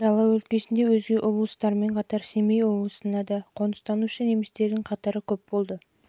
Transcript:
дала өлкесінде өзге облыстармен қатар семей облысына да қоныстанушы немістердің қатары көп болды